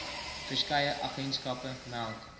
verskeie agentskappe meld